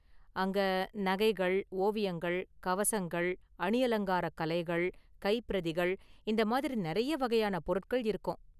அங்க நகைகள், ஓவியங்கள், கவசங்கள், அணியலங்காரக் கலைகள், கைப்பிரதிகள் இந்த மாதிரி நிறைய வகையான பொருட்கள் இருக்கும்.